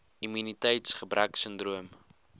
immuniteits gebrek sindroom